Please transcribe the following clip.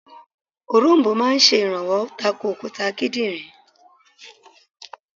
Òronbó máa sè rànwó tako òkúta kídìnrín